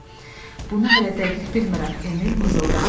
Bunu hələ dəqiq bilmirəm, Emil mızıldandı.